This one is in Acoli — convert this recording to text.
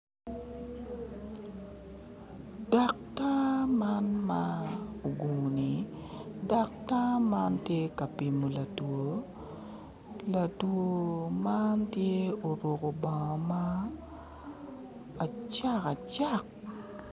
Daktar man ma ogungu-ni daktar man tye ka pimo latwo, latwo man tye oruku bongo acakacak